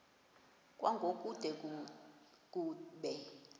kwango kude kube